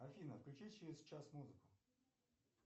афина включи через час музыку